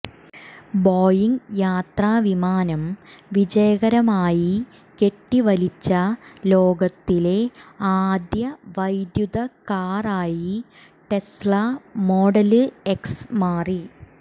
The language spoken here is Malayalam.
ബോയിംഗ് യാത്രാവിമാനം വിജയകരമായി കെട്ടിവലിച്ച ലോകത്തിലെ ആദ്യ വൈദ്യുത കാറായി ടെസ്ല മോഡല് എക്സ് മാറി